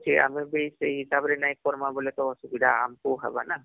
ଆମେ ବି ସେଇ ହିସାବରେ ନାଇଁ କରମା ବୋଲେ ତ ଅସୁବିଧା ଆମ କେ ହବ ନା